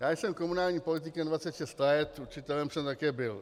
Já jsem komunálním politikem 26 let, učitelem jsem také byl.